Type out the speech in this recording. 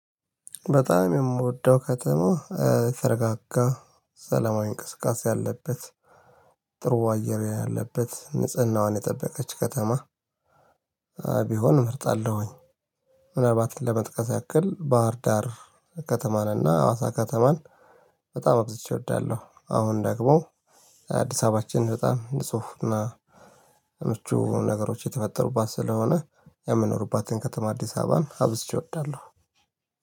በጣም የምወደው ከተማ የተረጋጋ ሰለማዊ እንቅስቃሴ ያለበት ጥሩ አየር ያለበት ንጽህናዋን የጠበቀች ከተማ ቢሆን እመርጣለሁኝ። ምናልባት ለመጥቀስ ያክል ባህር ዳር ከተማን እና አዋሳ ከተማን በጣም አብዝቼ እወዳለሁ። አሁን ደግሞ አዲስ አበባችን በጣም ልጽሁና ምቹ ነገሮች የተፈጠሩባት ስለሆነ የምኖሩባትን ከተማ አዲስ አበባን አብዝቼ እወዳለሁ።